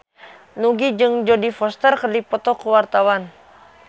Nugie jeung Jodie Foster keur dipoto ku wartawan